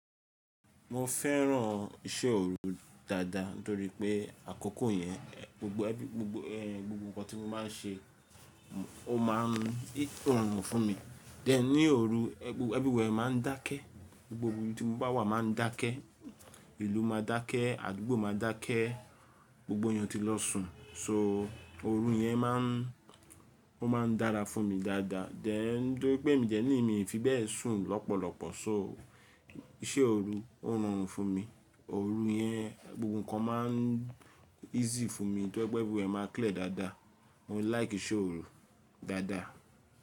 Mo fẹ́ràn iṣẹ́ òru dáadáa nítorí pé àkoko yẹn, gbogbo ẹbí, gbogbo ẹh, gbogbo nǹkan tí mo máa ń ṣe ó máa ń rọrùn fún mi. Tgen ní òru, everywhere máa ń dákẹ́. Gbogbo ibi tí mo bá wà máa ń dákẹ́. Ìlú máa dákẹ́, àdúgbò máa dákẹ́, gbogbo eeyan tí lọ sùn. So òru yẹn máa ń, ó máa ń dára fún mi dáadáa. Then nítorí pé mii dẹ ni mi fi bẹ́ẹ̀ sùn lọ́pọ̀lọpọ̀ so iṣẹ́ òru ó rùn fún mi. Òru yẹn gbogbo nǹkan máa ń easy fún mi. Nítorí pé everywhere máa clear dáadáa. Mo ń like iṣẹ́ òru dáadáa.